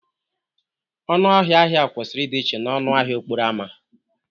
Ọnụ ahịa ahịa kwesịrị ịdị iche na ọnụ ahịa okporo ámá